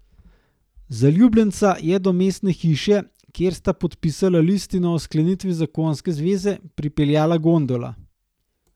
Zaljubljenca je do mestne hiše, kjer sta podpisala listino o sklenitvi zakonske zveze, pripeljala gondola.